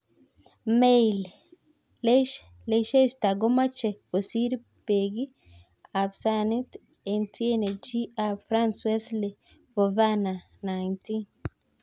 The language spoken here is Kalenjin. (Mail) Leicester komoche kosir Beki ab Saint-Etienne chi ab France Wesley Fofana, 19.